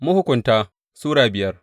Mahukunta Sura biyar